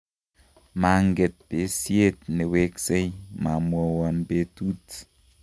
manget besiet ne weksei, mamwowon betut